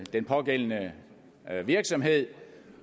den pågældende virksomhed